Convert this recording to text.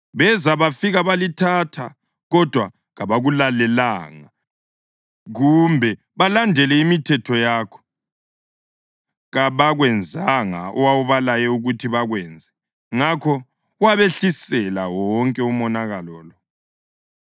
Beza bafika balithatha, kodwa kabakulalelanga kumbe balandele imithetho yakho; kabakwenzanga owawubalaye ukuthi bakwenze. Ngakho wabehlisela wonke umonakalo lo.